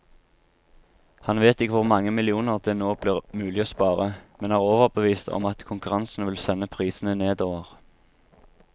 Han vet ikke hvor mange millioner det nå blir mulig å spare, men er overbevist om at konkurransen vil sende prisene nedover.